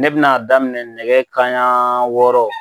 Ne bina daminɛ nɛkɛ kanɲɛ wɔɔrɔ